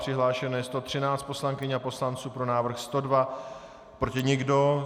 Přihlášeno je 113 poslankyň a poslanců, pro návrh 102, proti nikdo.